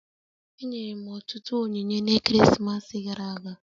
Enyere m ọtụtụ onyinye na-ekeresimesi gara aga